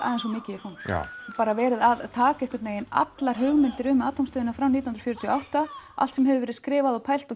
of mikið í fang já bara verið að taka einhvern veginn allar hugmyndir um Atómstöðina frá nítján hundruð fjörutíu og átta allt sem hefur verið skrifað pælt og